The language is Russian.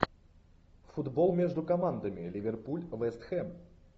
футбол между командами ливерпуль вест хэм